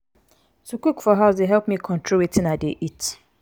to cook for house dey help me control wetin i dey eat.